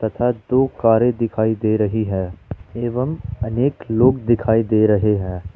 दो कारे दिखाई दे रही है एवं अनेक लोग दिखाई दे रहे हैं।